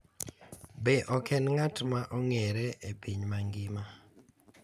Be ok en ng’at ma ong’ere e piny mangima,